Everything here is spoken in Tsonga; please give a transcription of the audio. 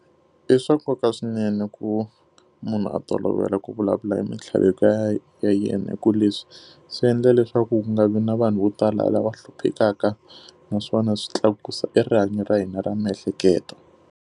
I swa nkoka swinene ku munhu a tolovela ku vulavula mintlhaveko ya yena hikuva leswi swi endla leswaku ku nga vi na vanhu vo tala lava hluphekaka, naswona swi tlakusa e rihanyo ra hina ra miehleketo.